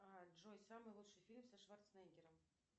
джой самый лучший фильм со шварценеггером